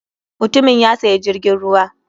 Mutumin ya sayi jirgin ruwa.